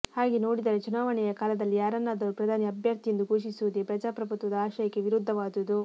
ಹಾಗೆ ನೋಡಿದರೆ ಚುನಾವಣೆಯ ಕಾಲದಲ್ಲಿ ಯಾರನ್ನಾದರೂ ಪ್ರಧಾನಿ ಅಭ್ಯರ್ಥಿ ಎಂದು ಘೋಷಿಸುವುದೇ ಪ್ರಜಾಪ್ರಭುತ್ವದ ಆಶಯಕ್ಕೆ ವಿರುದ್ಧವಾದುದು